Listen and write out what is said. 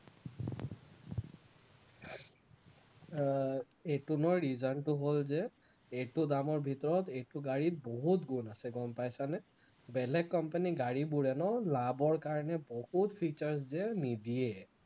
আহ এইটো লোৱাৰ reason টো হল যে এইটো দামৰ ভিতৰত এইটো গাড়ী বহুত গুণ আছে গম পাইছানে, বেলেগ company ৰ গাড়ীবোৰে ন লাভৰ কাৰণে বহুত features যে নিদিয়ে